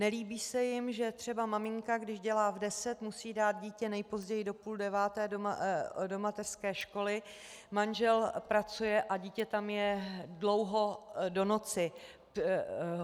Nelíbí se jim, že třeba maminka, když dělá v deset, musí dát dítě nejpozději do půl deváté do mateřské školy, manžel pracuje a dítě tam je dlouho do noci.